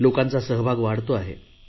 लोकांचा सहभाग वाढतो आहे